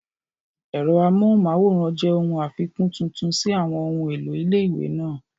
Ẹ̀rọ amóhùnmáwòrán jẹ́ ohun àfikún tuntun sí àwọn ohun èlò ilé-ìwé náà